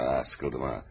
Ah, sıxıldım ha.